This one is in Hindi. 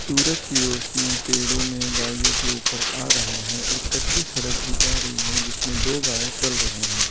सूरज की रोशनी पेड़ों में गायों के ऊपर आ रहे हैं एक कच्ची सड़क भी जा रही है जिसमें दो गाय चल रहे हैं।